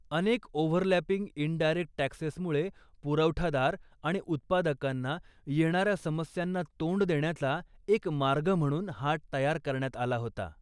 अनेक overlapping indirect टॅक्सेसमुळे पुरवठादार आणि उत्पादकांना येणाऱ्या समस्यांना तोंड देण्याचा एक मार्ग म्हणून हा तयार करण्यात आला होता.